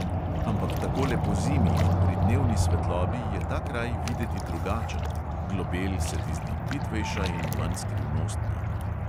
Ampak takole pozimi in pri dnevni svetlobi je ta kraj videti drugačen, globel se ti zdi plitvejša in manj skrivnostna.